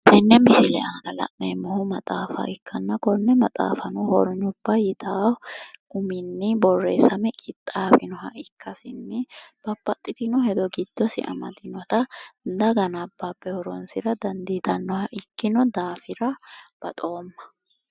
Tenne misile aana la'neemmohu maxaafa ikkanna, konne maxaafanno hornyubba yitaawo uminni boorreessame qixaawinoha ikkasinni babbaxxitino hedo giddosi amadinota daga nabbabe horonsira dandiitannoha ikkino daafira baxoomma.